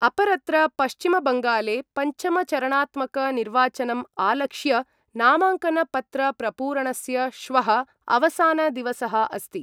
अपरत्र पश्चिम बंगाले पंचम-चरणात्मक निर्वाचनम् आलक्ष्य नामांकन पत्र-प्रपूरणस्य श्वः अवसान-दिवसः अस्ति।